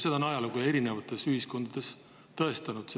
Seda on ajalugu erinevates ühiskondades tõestanud.